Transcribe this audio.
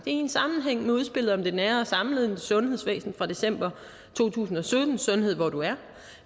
en sammenhæng med udspillet om det nære og samlede sundhedsvæsen fra december to tusind og sytten sundhed hvor du er